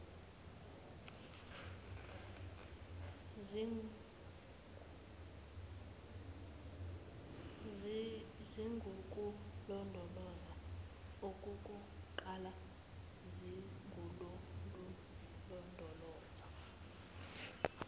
zingukulondoloza okukuqala zingululondoloza